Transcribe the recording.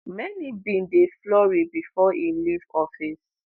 many bin dey flurry bifor e leave office.